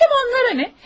Həm onlara nə?